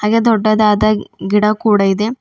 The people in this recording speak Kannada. ಯ ದೊಡ್ಡದಾದ ಗಿಡ ಕೂಡ ಇದೆ.